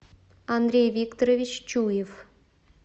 андрей викторович чуев